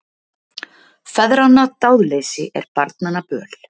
Feðranna dáðleysi er barnanna böl.